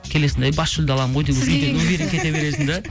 келесің де ей бас жүлде аламын ғой